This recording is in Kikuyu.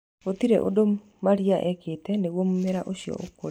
Gũtirĩ ũndũ Maria eekĩte nĩguo mũmera ũcio ũkũre.